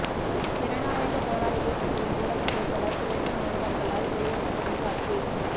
ஜனநாயகப் போராளிகள் கட்சியின் ஊடகப் பேச்சாளர் துளசி மாணவர்களால் வெளியேற்றப்படும் காட்சி